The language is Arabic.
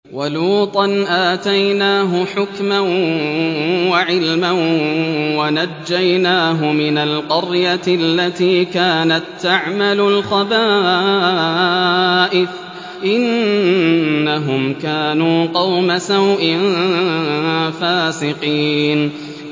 وَلُوطًا آتَيْنَاهُ حُكْمًا وَعِلْمًا وَنَجَّيْنَاهُ مِنَ الْقَرْيَةِ الَّتِي كَانَت تَّعْمَلُ الْخَبَائِثَ ۗ إِنَّهُمْ كَانُوا قَوْمَ سَوْءٍ فَاسِقِينَ